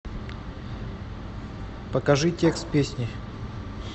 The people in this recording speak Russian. покажи текст песни